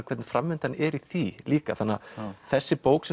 hvernig framvindan er í því líka þessi bók